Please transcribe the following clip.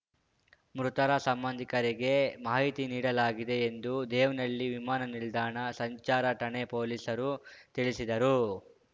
ಮೃತರ ಸಂಬಂಧಿಕರಿಗೆ ಮಾಹಿತಿ ನೀಡಲಾಗಿದೆ ಎಂದು ದೇವನಹಳ್ಳಿ ವಿಮಾನ ನಿಲ್ದಾಣ ಸಂಚಾರ ಠಾಣೆ ಪೊಲೀಸರು ತಿಳಿಸಿದರು